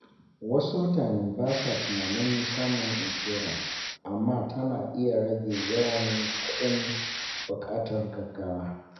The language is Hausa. Wasu mutane ba sa tunanin samun inshora, amma tana iya rage yawan kuɗin buƙatar gaugawa.